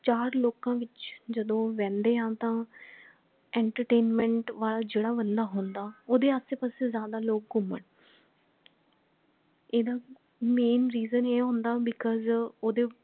ਚਾਰ ਲੋਕਾਂ ਵਿੱਚ ਜਦੋ ਬਹਿੰਦੇ ਹਾਂ ਤਾਂ entertainment ਵਾਲਾ ਜੇਡਾ ਬੰਦਾ ਹੁੰਦਾ ਓਹਦੇ ਆਸੇ ਪਾਸੇ ਜ਼ਿਆਦਾ ਲੋਗ ਘੁੰਮਣ ਇਹਦਾ main reason ਇਹ ਹੁੰਦਾ because ਓਹਦੇ